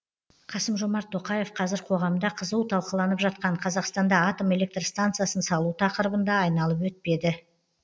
қасым жомарт тоқаев қазір қоғамда қызу талқыланып жатқан қазақстанда атом электр станциясын салу тақырыбын да айналып өтпеді